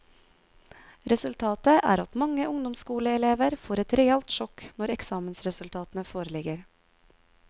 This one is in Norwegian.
Resultatet er at mange ungdomsskoleelever får et realt sjokk når eksamensresultatene foreligger.